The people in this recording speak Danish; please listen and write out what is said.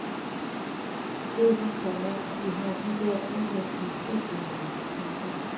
Du ved, komma vi har de der udvendige stikledninger. punktum